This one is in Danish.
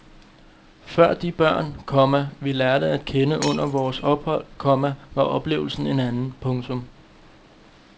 For de børn, komma vi lærte at kende under vores ophold, komma var oplevelsen en anden. punktum